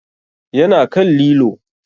Ya na kan lilo